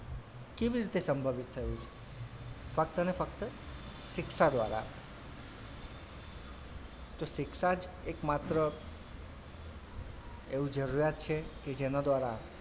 કેવી રીતે સંભવિત થયું છે ફક્ત ને ફક્ત શિક્ષા દ્વારા તો શિક્ષા જ એકમાત્ર એવું જરૂરિયાત છે કે જેનાં દ્વારા,